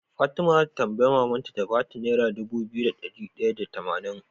Fatima zata tambayi maman ta ta bata naira Dubu biyu da dari daya da tamanin